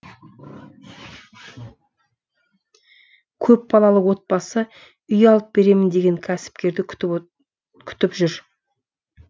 көпбалалы отбасы үй алып беремін деген кәсіпкерді күтіп жүр